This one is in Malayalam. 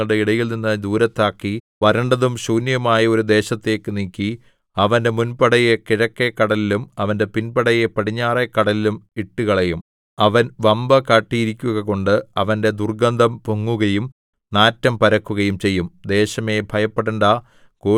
വടക്കുനിന്നുള്ള ശത്രുവിനെ ഞാൻ നിങ്ങളുടെ ഇടയിൽനിന്ന് ദൂരത്താക്കി വരണ്ടതും ശൂന്യവുമായ ഒരു ദേശത്തേക്ക് നീക്കി അവന്റെ മുൻപടയെ കിഴക്കെ കടലിലും അവന്റെ പിൻപടയെ പടിഞ്ഞാറെ കടലിലും ഇട്ടുകളയും അവൻ വമ്പു കാട്ടിയിരിക്കുകകൊണ്ട് അവന്റെ ദുർഗ്ഗന്ധം പൊങ്ങുകയും നാറ്റം പരക്കുകയും ചെയ്യും